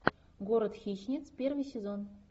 город хищниц первый сезон